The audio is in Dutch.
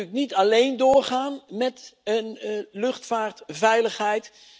VK kan natuurlijk niet alleen doorgaan met luchtvaartveiligheid.